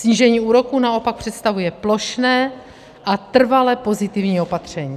Snížení úroku naopak představuje plošné a trvale pozitivní opatření.